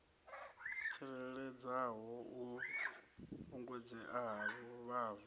tsireledzeaho u fhungudzea ha vhuvhava